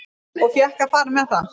Og fékk að fara með það.